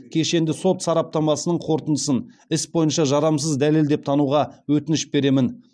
кешенді сот сараптамасының қорытындысын іс бойынша жарамсыз дәлел деп тануға өтініш беремін